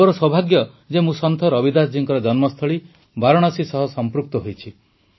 ମୋର ସୌଭାଗ୍ୟ ଯେ ମୁଁ ସନ୍ଥ ରବିଦାସ ଜୀଙ୍କ ଜନ୍ମସ୍ଥଳୀ ବାରାଣସୀ ସହ ସଂପୃକ୍ତ ହୋଇଛି